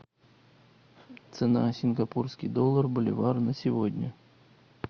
цена сингапурский доллар боливар на сегодня